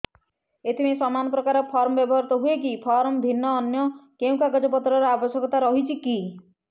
ଏଥିପାଇଁ ସମାନପ୍ରକାର ଫର୍ମ ବ୍ୟବହୃତ ହୂଏକି ଫର୍ମ ଭିନ୍ନ ଅନ୍ୟ କେଉଁ କାଗଜପତ୍ରର ଆବଶ୍ୟକତା ରହିଛିକି